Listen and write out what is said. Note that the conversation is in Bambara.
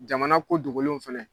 Jamana ko dgolenw fɛnɛ.